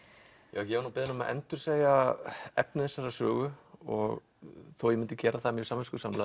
ég var beðinn um að endursegja efni þessarar sögu og þó ég myndi gera það mjög samviskusamlega